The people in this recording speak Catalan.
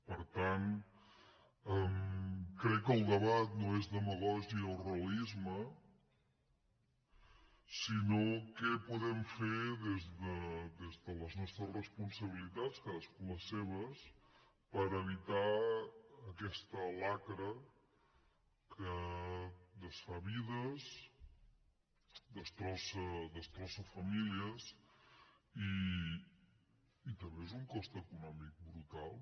per tant crec que el debat no és demagògia o realis·me sinó què podem fer des de les nostres responsa·bilitats cadascú les seves per evitar aquesta lacra que desfà vides destrossa famílies i també és un cost econòmic brutal